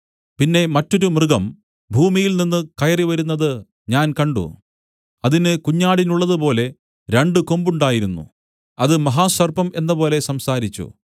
പിന്നെ മറ്റൊരു മൃഗം ഭൂമിയിൽനിന്നു കയറി വരുന്നത് ഞാൻ കണ്ട് അതിന് കുഞ്ഞാടിനുള്ളതുപോലെ രണ്ടു കൊമ്പുണ്ടായിരുന്നു അത് മഹാസർപ്പം എന്നപോലെ സംസാരിച്ചു